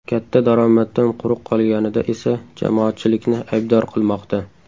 Katta daromaddan quruq qolganida esa jamoatchilikni aybdor qilmoqda .